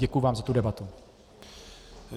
Děkuji vám za tu debatu.